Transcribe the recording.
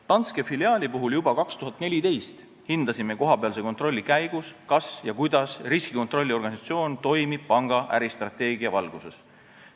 Danske filiaali puhul hindasime 2014 juba kohapealse kontrolli käigus, kas ja kuidas riskikontrolli organisatsioon toimib panga äristrateegia valguses.